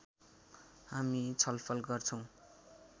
हामी छलफल गर्छौँ